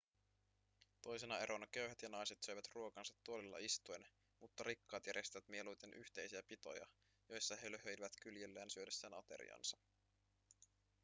toisena erona köyhät ja naiset söivät ruokansa tuolilla istuen mutta rikkaat järjestivät mieluiten yhteisiä pitoja joissa he löhöilivät kyljellään syödessään ateriansa